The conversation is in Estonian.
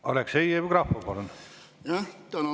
Aleksei Jevgrafov, palun!